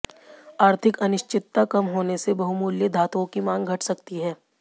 आर्थिक अनिश्चितता कम होने से बहुमूल्य धातुओं की मांग घट सकती है